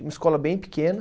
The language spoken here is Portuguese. Uma escola bem pequena.